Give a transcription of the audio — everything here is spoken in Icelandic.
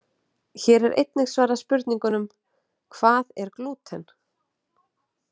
Hér er einnig svarað spurningunum: Hvað er glúten?